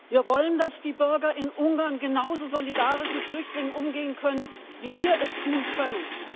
Wir wollen, dass die Bürger in Ungarn genauso solidarisch mit Flüchtlingen umgehen können, wie wir es tun können.